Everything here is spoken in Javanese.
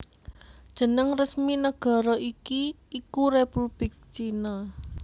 Jeneng resmi nagara iki iku Républik China